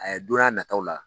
A don n'a nataw la